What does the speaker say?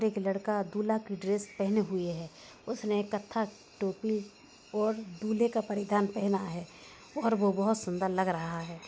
एक लड़का दूल्हा की ड्रेस पहना हुआ है उसने कथा टोपी और दूल्हे का परिधान पहना है और वो बहुत सुंदर लग रहा है।